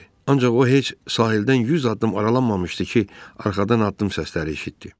Ancaq o heç sahildən yüz addım aralanmamışdı ki, arxadan addım səsləri eşitdi.